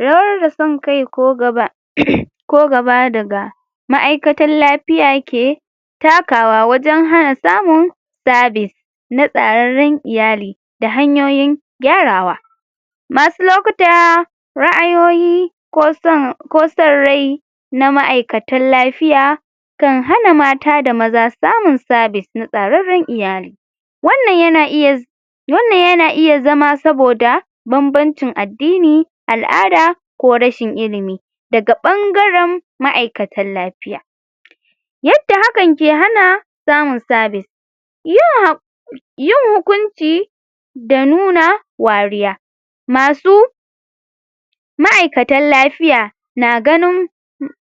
rawar da sonkai ko gaba ko gaba daga ma'aikatan lafiya ke takawa wajan hana samun service na tsararran iyali da hanyoyin gyarawa masu lokuta ra'aiyoyi koson ko sonrai na ma'aikatan lafiya kan hana mata da maza samun service na tsaranran iyali wannan yana iya wannan yana iya zama saboda banbancin addini al'ada ko rashin ilimi daga bangaran ma'aikatan lafiya yadda hakan ke hana samun service yin hukunci da nuna wariya masu ma'aikatan lafiya na ganun